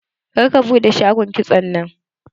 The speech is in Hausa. Kar ka buɗe shagon kitson nan!